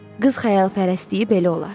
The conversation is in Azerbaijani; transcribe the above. Qız xəyalpərəstliyi belə olar.